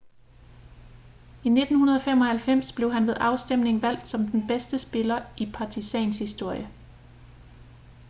i 1995 blev han ved afstemning valgt som den bedste spiller i partizans historie